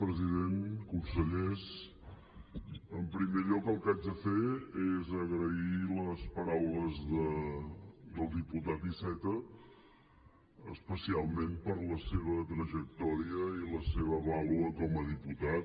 president consellers en primer lloc el que haig de fer és agrair les paraules del diputat iceta especialment per la seva trajectòria i la seva vàlua com a diputat